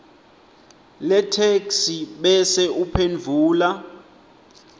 letheksthi bese uphendvula